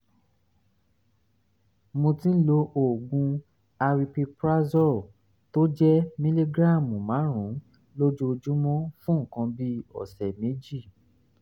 mo ti ń lo oògùn aripiprazole tó jẹ́ mìlígíráàmù márùn-ún lójoojúmọ́ fún nǹkan bí ọ̀sẹ̀ méjì